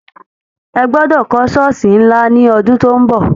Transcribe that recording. Ẹ gbọdọ̀ kọ́ Ṣọ́ọ̀sì ńlá ní ọdún tó ń bọ̀!